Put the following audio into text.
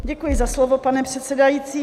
Děkuji za slovo, pane předsedající.